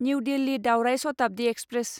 new Delhi दावराय Shatabdi express